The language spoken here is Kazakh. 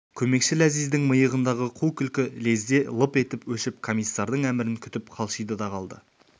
көмекші ләзиздің миығындағы қу күлкі лезде лып етіп өшіп комиссардың әмірін күтіп қалшиды да қалды